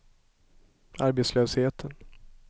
arbetslösheten